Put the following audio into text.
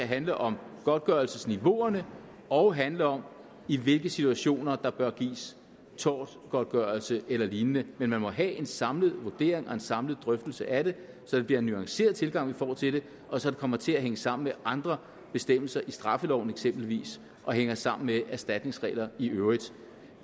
handle om godtgørelsesniveauerne og handle om i hvilke situationer der bør gives tortgodtgørelse eller lignende men man må have en samlet vurdering og en samlet drøftelse af det så det bliver en nuanceret tilgang vi får til det og så det kommer til at hænge sammen med andre bestemmelser i straffeloven eksempelvis og hænge sammen med erstatningsregler i øvrigt